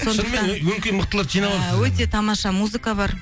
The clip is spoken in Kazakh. шынымен өңкей мықтыларды жина алыпсыз өте тамаша музыка бар